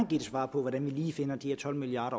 give et svar på hvordan vi lige finder de her tolv milliard